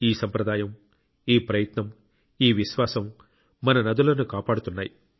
ఈ సంప్రదాయం ఈ ప్రయత్నం ఈ విశ్వాసం మన నదులను కాపాడుతున్నాయి